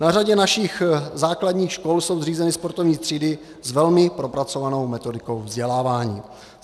Na řadě našich základních škol jsou zřízeny sportovní třídy s velmi propracovanou metodikou vzdělávání.